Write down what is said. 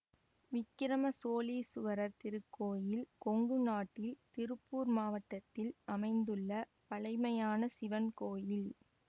விக்கிரம சோழீசுவரர் திருக்கோயில் கொங்கு நாட்டில் திருப்பூர் மாவட்டத்தில் அமைந்துள்ள பழைமையான சிவன் கோயில்